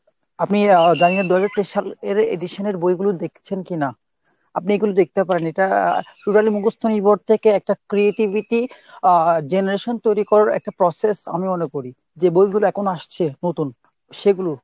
আপনি আহ জানি না দুহাজার তেইশ সাল এর edition এর বইগুলো দেখেছেন কিনা , আপনি এগুলো দেখতে পারেন ইটা আহ totally মুখস্ত নির্ভর থেকে একটা creativity আহ generation তৈরী করার একটা process আমি মনে করি, যে বইগুলো এখন আসছে নতুন সেগুলো।